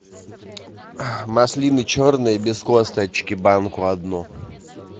маслины черные без косточки банку одну